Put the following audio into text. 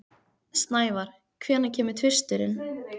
Snævar, hvenær kemur tvisturinn?